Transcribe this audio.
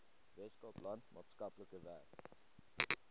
weskaapland maatskaplike werk